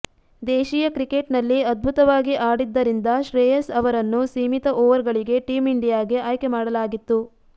ದೇಶೀಯ ಕ್ರಿಕೆಟ್ ನಲ್ಲಿ ಅದ್ಭುತವಾಗಿ ಆಡಿದ್ದರಿಂದ ಶ್ರೇಯಸ್ ಅವರನ್ನು ಸೀಮಿತ ಓವರ್ ಗಳಿಗೆ ಟೀಂ ಇಂಡಿಯಾಗೆ ಆಯ್ಕೆ ಮಾಡಲಾಗಿತ್ತು